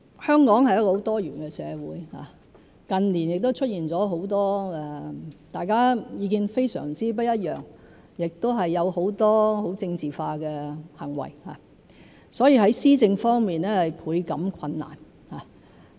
香港是一個很多元的社會，近年亦出現了很多大家意見非常不一樣的情況，亦有很多很政治化的行為，所以在施政方面，倍感困難。